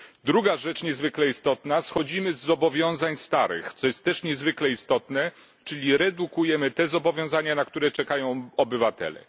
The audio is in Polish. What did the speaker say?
Druga rzecz niezwykle istotna schodzimy z zobowiązań starych, co jest też niezwykle istotne, czyli redukujemy te zobowiązania, na które czekają obywatele.